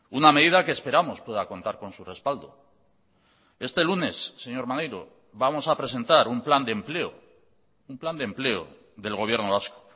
una medida que esperamos pueda contar con su respaldo este lunes señor maneiro vamos a presentar un plan de empleo un plan de empleo del gobierno vasco